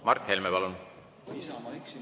Mart Helme, palun!